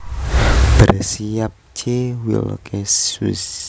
Bersiap C Wilkeshuis